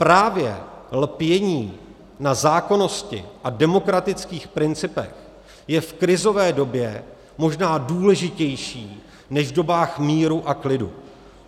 Právě lpění na zákonnosti a demokratických principech je v krizové době možná důležitější než v dobách míru a klidu.